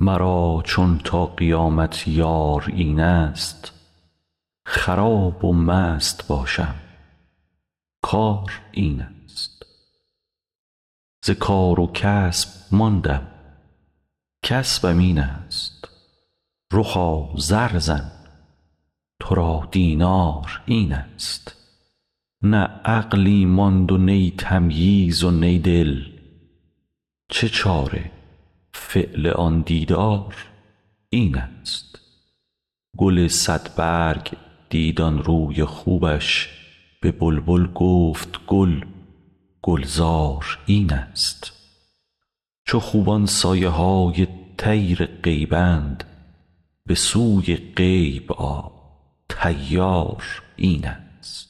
مرا چون تا قیامت یار اینست خراب و مست باشم کار اینست ز کار و کسب ماندم کسبم اینست رخا زر زن تو را دینار اینست نه عقلی ماند و نی تمیز و نی دل چه چاره فعل آن دیدار اینست گل صدبرگ دید آن روی خوبش به بلبل گفت گل گلزار اینست چو خوبان سایه های طیر غیبند به سوی غیب آ طیار این ست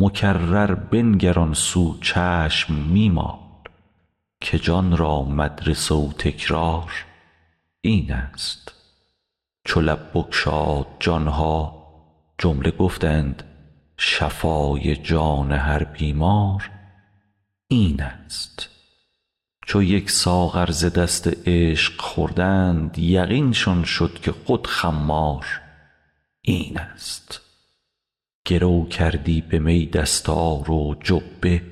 مکرر بنگر آن سو چشم می مال که جان را مدرسه و تکرار اینست چو لب بگشاد جان ها جمله گفتند شفای جان هر بیمار اینست چو یک ساغر ز دست عشق خوردند یقینشان شد که خود خمار اینست گرو کردی به می دستار و جبه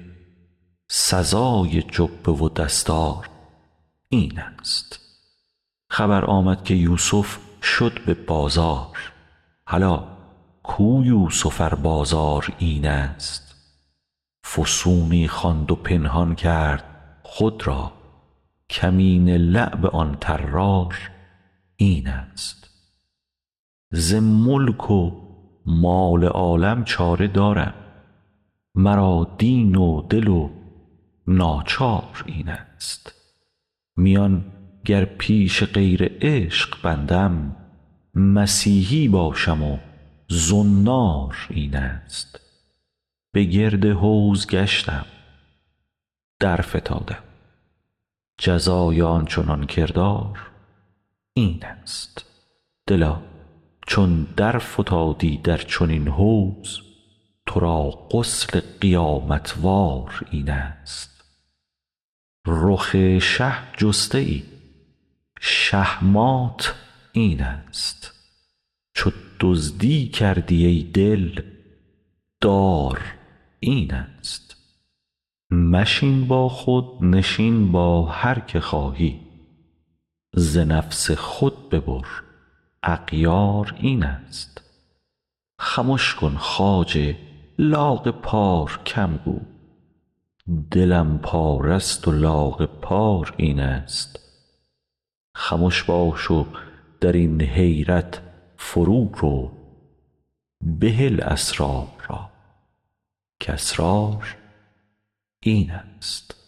سزای جبه و دستار اینست خبر آمد که یوسف شد به بازار هلا کو یوسف ار بازار اینست فسونی خواند و پنهان کرد خود را کمینه لعب آن طرار اینست ز ملک و مال عالم چاره دارم مرا دین و دل و ناچار اینست میان گر پیش غیر عشق بندم مسیحی باشم و زنار اینست به گرد حوض گشتم درفتادم جزای آن چنان کردار اینست دلا چون درفتادی در چنین حوض تو را غسل قیامت وار اینست رخ شه جسته ای شهمات اینست چو دزدی کردی ای دل دار اینست مشین با خود نشین با هر که خواهی ز نفس خود ببر اغیار اینست خمش کن خواجه لاغ پار کم گو دلم پاره ست و لاغ پار اینست خمش باش و در این حیرت فرورو بهل اسرار را کاسرار اینست